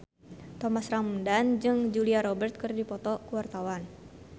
Thomas Ramdhan jeung Julia Robert keur dipoto ku wartawan